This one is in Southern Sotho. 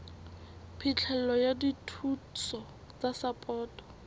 phihlelo ya dithuso tsa sapoto